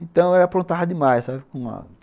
Então eu apontava demais, sabe!